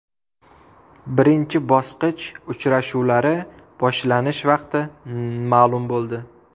Birinchi bosqich uchrashuvlari boshlanish vaqti ma’lum bo‘ldi.